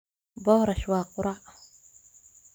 Boorash waa quraac.